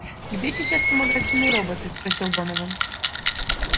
где сейчас вспомогательные роботы спросил донован